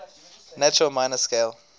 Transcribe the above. natural minor scale